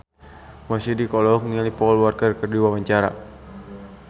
Mo Sidik olohok ningali Paul Walker keur diwawancara